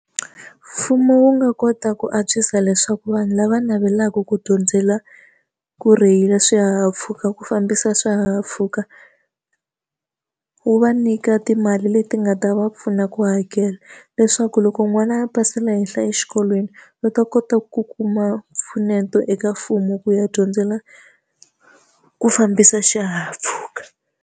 Mfumo wu nga kota ku antswisa leswaku vanhu lava navelaka ku dyondzela ku rheyila swihahampfhuka ku fambisa swihahampfhuka, wu va nyika timali leti nga ta va pfuna ku hakela. Leswaku loko n'wana a pasela henhla exikolweni, va ta kota ku kuma mpfuneto eka mfumo ku ya dyondzela ku fambisa xihahampfhuka.